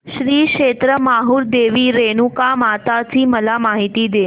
श्री क्षेत्र माहूर देवी रेणुकामाता ची मला माहिती दे